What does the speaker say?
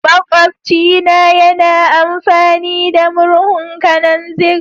Makwabci na yana amfani da murhun kananzir.